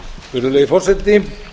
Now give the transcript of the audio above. virðulegi forseti